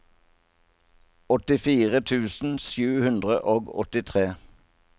åttifire tusen sju hundre og åttitre